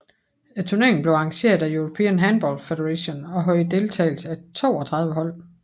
Turneringen blev arrangeret af European Handball Federation og havde deltagelse af 32 hold